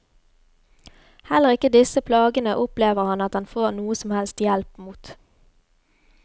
Heller ikke disse plagene opplever han at han får noe som helst hjelp mot.